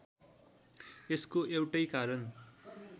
यसको एउटै कारण